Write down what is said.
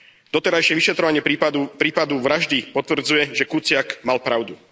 Doterajšie vyšetrovanie prípadu vraždy potvrdzuje, že Kuciak mal pravdu.